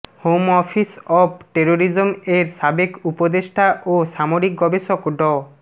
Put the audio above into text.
home office of terrorism এর সাবেক উপদেষ্টা ও সামরিক গবেষক ড